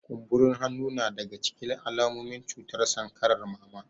Kumburin hannu na daga cikin alamomin cutar sankarar mama